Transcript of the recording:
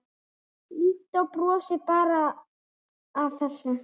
Lídó brosir bara að þessu.